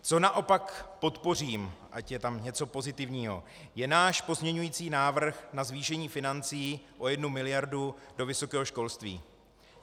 Co naopak podpořím, ať je tam něco pozitivního, je náš pozměňující návrh na zvýšení financí o 1 miliardu do vysokého školství.